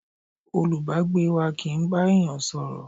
Olùbágbé wá kì ń bá èèyàn sọ̀rọ̀